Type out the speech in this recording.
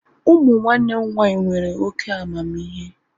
Ụmụ nwanne m nwaanyị nwere oké amamihe